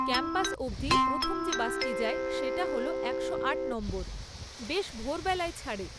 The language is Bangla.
ক্যাম্পাস অবধি প্রথম যে বাসটি যায় সেটা হল একশো আট নম্বর, বেশ ভোরবেলায় ছাড়ে।